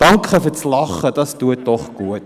Danke für das Lachen, das tut doch gut!